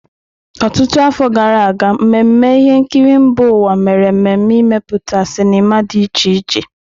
Ọtụtụ afọ gara aga, mmemme ihe nkiri mba ụwa mere mmemme imepụta sinima dị iche iche.